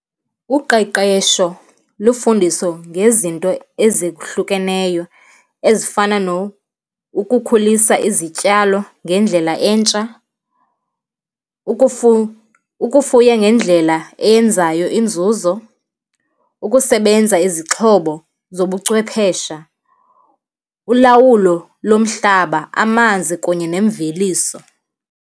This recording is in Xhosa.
Uqeqesho lufundiso ngezinto ezihlukeneyo, ezifana nokukhulisa izityalo ngendlela entsha, ukufuya ngendlela eyenzayo inzuzo, ukusebenza izixhobo zobuchwephesha, ulawulo lomhlaba, amanzi kunye nemveliso.